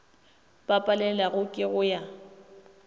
ba palelwago ke go ya